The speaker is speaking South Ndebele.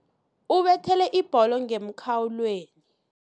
Ubethele ibholo ngemkhawulweni.